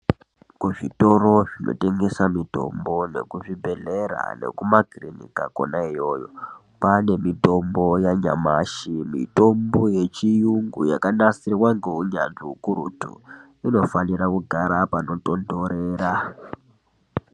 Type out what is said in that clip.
Kuzvitoro zvinotengesa mitombo nekuzvibhedhleya nekumakirinika kona iyoyo kwane mitombo yanyamashi mitombo yechiyungu yakanasirwa ngeunyanzvi ukurutu inofanira kugara panotontorera.